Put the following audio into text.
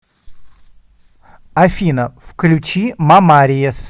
афина включи ма мариес